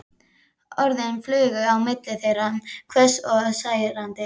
Orðin flugu á milli þeirra, hvöss og særandi.